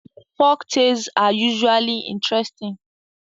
Folktales are usually interesting